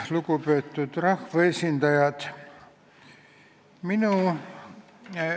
Lugupeetud rahvaesindajad!